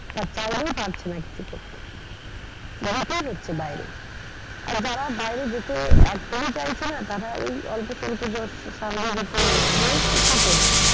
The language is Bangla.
তার চাইলেও পারছে না কিছু করতে। হচ্ছে বাইরে। আর যারা বাইরে যেতে একদই চাইছে না তারা ওই অল্প স্বল্প salary র উপরে রয়েছে কি করবে।